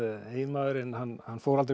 eiginmaðurinn hann hann fór aldrei